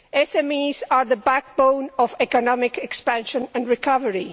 SMEs are the backbone of economic expansion and recovery.